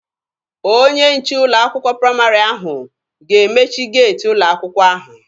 Onye nche ụlọ akwụkwọ praịmarị ahụ ga-emechi geeti ụlọ akwụkwọ ahụ.